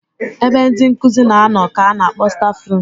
Ebe ndị nkụzi na-anọ ka ana akpọ stafrum.